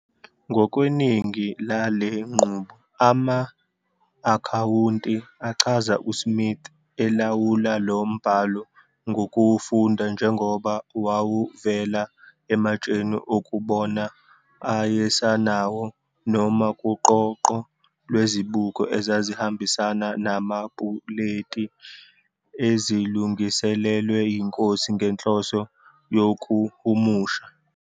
Ngokweningi lale nqubo, ama-akhawunti achaza uSmith elawula lo mbhalo ngokuwufunda njengoba wawuvela ematsheni okubona ayesenawo noma kuqoqo lwezibuko ezazihambisana namapuleti, ezilungiselelwe yiNkosi ngenhloso yokuhumusha.